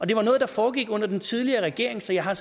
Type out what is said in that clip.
det var noget der foregik under den tidligere regering så jeg har